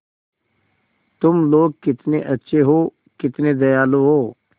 तुम लोग कितने अच्छे हो कितने दयालु हो